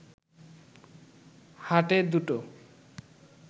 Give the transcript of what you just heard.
হাটে দুটো